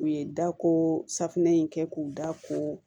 U ye dako safunɛ in kɛ k'u da ko